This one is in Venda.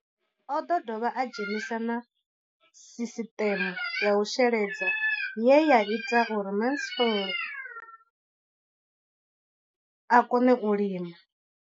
O ḓo dovha a dzhenisa na sisiṱeme ya u sheledza ye ya ita uri Mansfied a kone u lima.